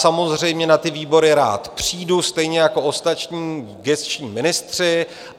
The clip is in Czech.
Samozřejmě na ty výbory rád přijdu, stejně jako ostatní gesční ministři.